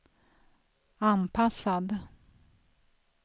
anpassad